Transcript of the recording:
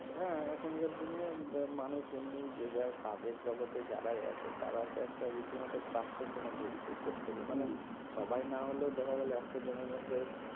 হ্যাঁ এখনকার দিনে মানুষ এমনিই যে যার কাজের জগতে যারাই আছে তারা তো একটা রিতিমত frustration ভুগছে প্রতেকে মানে সবাই না হলেও দেখা গেল একশো জনে মধ্যে